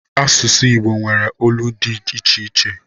Asụsụ Igbo nwere olu dị iche iche